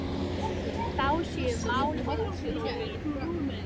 Þá séu mál oft flókin.